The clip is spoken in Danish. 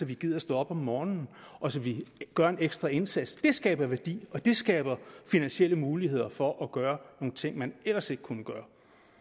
vi gider stå op om morgenen og så vi gør en ekstra indsats det skaber værdi og det skaber finansielle muligheder for at gøre nogle ting man ellers ikke kunne gøre